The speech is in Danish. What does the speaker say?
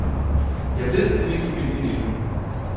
Jeg ved, at min familie lever.